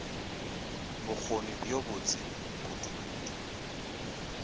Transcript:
bokgoni bjo bo botse kudukudu